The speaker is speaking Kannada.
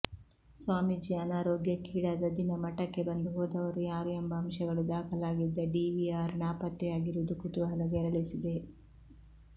ಸ್ವಾಮೀಜಿ ಅನಾರೋಗ್ಯಕ್ಕೀಡಾದ ದಿನ ಮಠಕ್ಕೆ ಬಂದು ಹೋದವರು ಯಾರು ಎಂಬ ಅಂಶಗಳು ದಾಖಲಾಗಿದ್ದ ಡಿವಿಆರ್ ನಾಪತ್ತೆ ಯಾಗಿರುವುದು ಕುತೂಹಲ ಕೆರಳಿಸಿದೆ